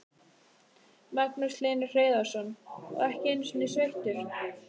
Magnús Hlynur Hreiðarsson: Og ekki einu sinni sveittur?